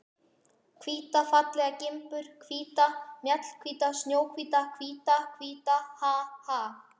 Hvíta fallega gimbur, hvíta. mjallahvíta. snjóhvíta, hvíta, hvíta, ha, ha!